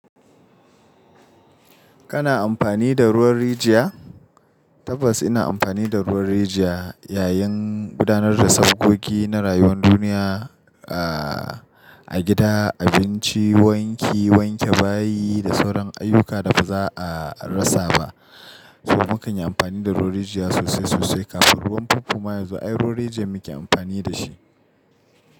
Kana amfani da ruwan rijiya? Tabbas ina amfani da ruwan rijiya yayin gudanar da sabgogi na rayuwar duniya, ah, a gida, abinci, wanki, wanke bayi da sauran ayyuka da ba za a rasa ba. So mu kanyi amfani da ruwan rijiya sosai sosai kafin ruwan pompo ma yazo ai ruwan rijiya muke amfani da shi.